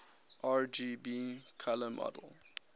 rgb color model